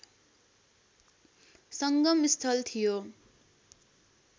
संगम स्थल थियो